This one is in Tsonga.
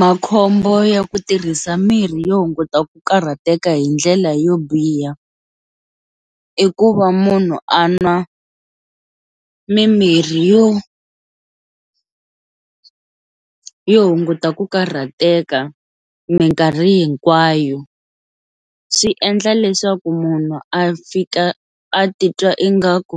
Makhombo ya ku tirhisa mirhi yo hunguta ku karhateka hindlela yo biha i ku va munhu a nwa mimirhi yo yo hunguta ku karhateka minkarhi hinkwayo swi endla leswaku munhu a fika a titwa ingaku